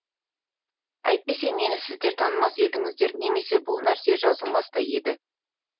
әйтпесе мені сіздер танымас едіңіздер немесе бұл нәрсе жазылмас та еді